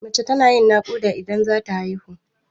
Mace tana yin naƙuda idan zata haihu.